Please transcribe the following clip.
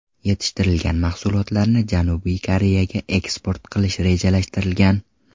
Yetishtirilgan mahsulotlarni Janubiy Koreyaga eksport qilish rejalashtirilgan.